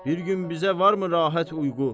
Bir gün bizə varmı rahat uyğu?